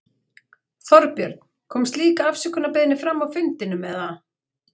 Þorbjörn: Kom slík afsökunarbeiðni fram á fundinum, eða?